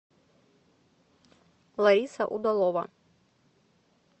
лариса удалова